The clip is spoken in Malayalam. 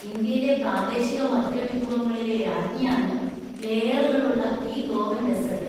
ഇന്ത്യയിലെ പ്രാദേശിക മധുരവിഭവങ്ങളിലെ രാജ്ഞിയാണ് ലേയറുകളുള്ള ഈ ഗോവൻ ഡെസ്സേർട്ട്.